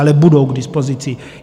Ale budou k dispozici.